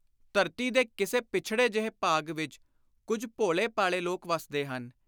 ਧਰਤੀ ਦੇ ਕਿਸੇ ਪੱਛੜੇ ਜਿਹੇ ਭਾਗ ਵਿਚ ਕੁਝ ਭੋਲੇ ਭਾਲੇ ਲੋਕ ਵੱਸਦੇ ਹਨ।